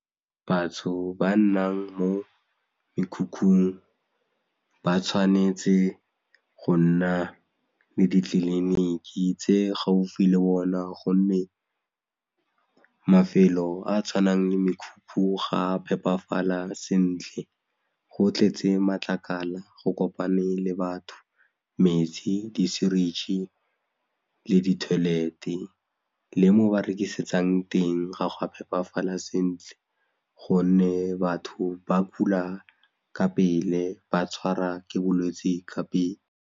Batho ba nnang mo mekhukhung ba tshwanetse go nna le ditleliniki tse gaufi le bona gonne mafelo a a tshwanang le mekhukhu ga a phepafala sentle, go tletse matlakala go kopane le batho metsi, disuritšhi le di-toilet-e le mo ba rekisetsang teng ga gwa phepafala sentle gonne batho ba kula ka pele ba tshwara ke bolwetsi ka pele.